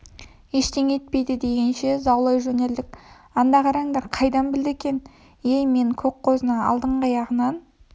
ештеңе етпейді дегенше заулай жөнелдік анда қараңдар қайдан білді екен ей мен көк қозыны алдыңғы аяғынан